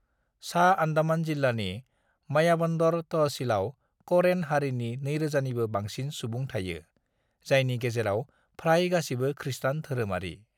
"सा अंडमान जिल्लानि मायाबंदर तहसीलआव करेन हारिनि 2,000 निबो बांसिन सुबुं थायो, जायनि गेजेराव फ्राय गासिबो खृस्तान धोरोमारि।"